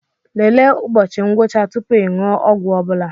Lelee ụbọchị ngwụcha tupu ị ṅụọ ọgwụ ọbụla